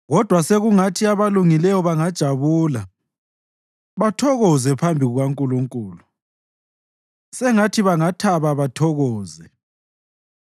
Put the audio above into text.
Kodwa sekungathi abalungileyo bangajabula bathokoze phambi kukaNkulunkulu; sengathi bangathaba bathokoze.